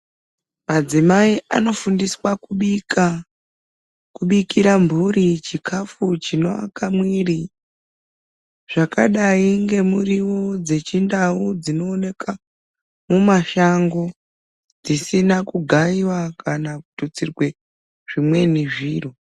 Madzimai anofundiswa kubika, kubikira mburi chikafu chinoaka mwiiri. Zvakadai ngemuriwo dzechindau dzinooneka mumashango. Dzisina kugaiwa kana kututsirwe zvimweni zviro.